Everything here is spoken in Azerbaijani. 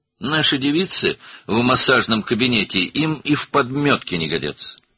Masaj otağımızdakı qızlarımız onlara tay ola bilməzdi.